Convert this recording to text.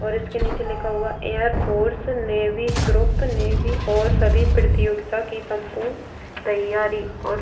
और उसके नीचे लिखा हुआ है air force navy group navy और सभी प्रतियोगिता की सम्पूर्ण तैयारी --